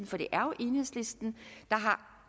for det er jo enhedslisten der har